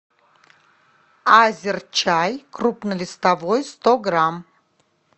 азерчай крупнолистовой сто грамм